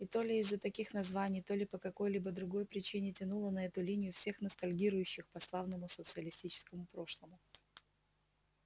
и то ли из-за таких названий то ли по какой-то другой причине тянуло на эту линию всех ностальгирующих по славному социалистическому прошлому